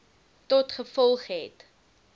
tot gevolg het